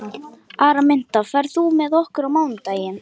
Araminta, ferð þú með okkur á mánudaginn?